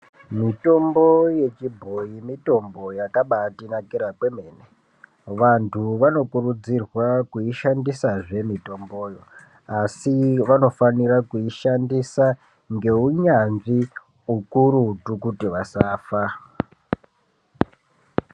Mitombo yechibhoyi, mitombo yakabatinakira kwemene. Vantu vanokuridzirwa kuishandisazve mitomboyo. Asi vanofanira kuishandisa ngeunyanzvi ukurutu kuti vasafa.